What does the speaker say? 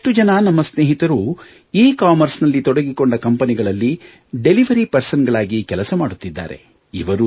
ಬಹಳಷ್ಟು ಜನ ನಮ್ಮ ಸ್ನೇಹಿತರು ಎಕಾಮರ್ಸ್ ನಲ್ಲಿ ತೊಡಗಿಕೊಂಡ ಕಂಪನಿಗಳಲ್ಲಿ ಡಿಲಿವರಿ ಪರ್ಸನಲ್ ಗಳಾಗಿ ಕೆಲಸ ಮಾಡುತ್ತಿದ್ದಾರೆ